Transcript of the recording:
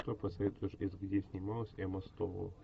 что посоветуешь из где снималась эмма стоун